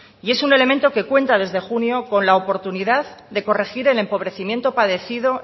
y es un elemento que cuenta desde junio con la oportunidad de corregir el empobrecimiento padecido